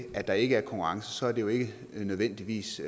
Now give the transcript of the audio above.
at der ikke er konkurrence er det jo ikke nødvendigvis